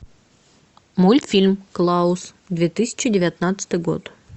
мультфильм клаус две тысячи девятнадцатый год